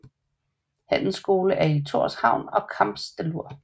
Handelsskole er i Tórshavn og Kambsdalur